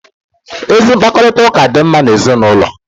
Ezi mkpakọrịta dị mma n'ezinụlọ